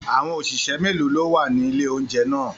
Àwọn òṣìṣẹ́ méèló ni ó wà ní ilé-oúnjẹ ná à?